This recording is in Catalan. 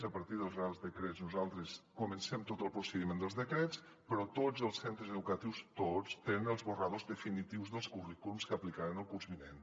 a partir dels reials decrets nosaltres comencem tot el procediment dels decrets però tots els centres educatius tots tenen els esborranys definitius dels currículums que aplicaran el curs vinent